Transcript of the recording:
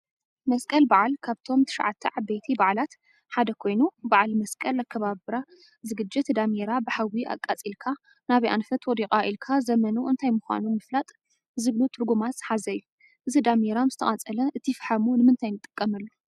መስቀል በዓል ካብቶም ትሽዓተ ዓበይቲ በዓላት ሓደ ኮይኑ፤ በዓል መስቀል አከባብራ ዝግጅት ዳሜራ ብሓዊ አቃፂልካ ናበይ አንፈት ወዲቃ ኢልካ ዘመኑ እንታይ ምኳኑ ምፍላጥ ዝብሉ ትርጉማት ዝሓዘ እዩ፡፡ እዚ ዳሜራ ምስተቃፀለ እቲ ፈሓሙ ንምንታይ ንጥቀመሉ?